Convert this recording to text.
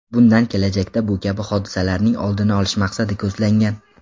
Bundan kelajakda bu kabi hodisalarning oldini olish maqsadi ko‘zlangan.